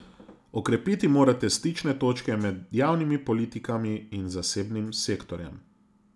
Okrepiti morate stične točke med javnimi politikami in zasebnim sektorjem.